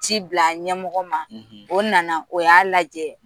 Ci bila ɲɛmɔgɔ ma o nana o y'a lajɛ